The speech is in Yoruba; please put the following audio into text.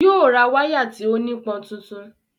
Yóò ra wáyà tí ó nípọn tuntun